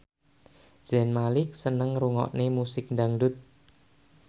Zayn Malik seneng ngrungokne musik dangdut